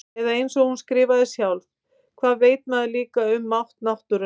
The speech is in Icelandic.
Eða einsog hún skrifaði sjálf: Hvað veit maður líka um mátt náttúrunnar.